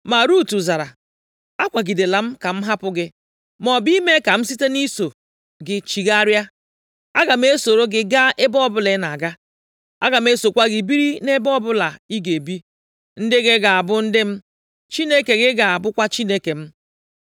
Ma Rut zara, “Akwagidela m ka m hapụ gị, maọbụ ime ka m site nʼiso gị chigharịa. Aga m esoro gị gaa ebe ọbụla ị na-aga. Aga m esokwa gị biri nʼebe ọbụla ị ga-ebi; ndị gị ga-abụ ndị m, Chineke gị ga-abụkwa Chineke m,